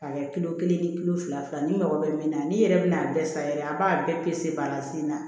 A kɛ kilo kelen ye kilo fila fila n'i mago bɛ min na n'i yɛrɛ bɛn'a bɛɛ san yɛrɛ a b'a bɛɛ balansina